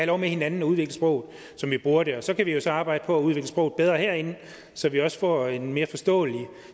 lov med hinanden at udvikle sproget som vi bruger det og så kan vi jo så arbejde på at udvikle sproget bedre herinde så vi også får en mere forståelig